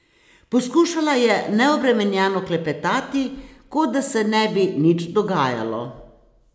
Poskušala je neobremenjeno klepetati, kot da se ne bi nič dogajalo.